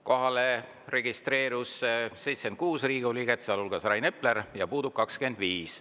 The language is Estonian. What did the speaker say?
Kohalolijaks registreerus 76 Riigikogu liiget, sealhulgas Rain Epler, ja puudub 25.